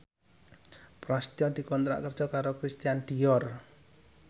Prasetyo dikontrak kerja karo Christian Dior